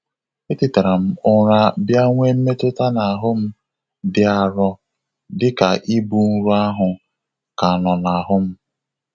E tetara m ụra bịa nwee mmetụta n'ahụ m m dị arọ, dị ka ibu nrọ ahụ ka nọ n'ahụ m.